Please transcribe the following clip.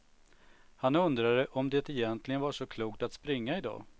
Han undrade om det egentligen var så klokt att springa idag.